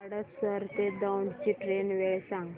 हडपसर ते दौंड ची ट्रेन वेळ सांग